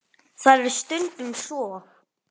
Það er stundum svo.